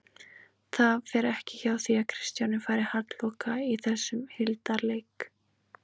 Það fer ekki hjá því að Kristján fari halloka í þessum hildarleik